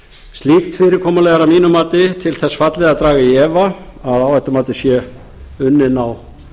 slíkt fyrirkomulag er að mínu mati til þess fallið að draga í efa að áhættumatið sé unnið á